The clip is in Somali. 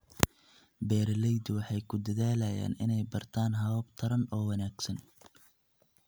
Beeraleydu waxay ku dadaalayaan inay bartaan habab taran oo wanaagsan.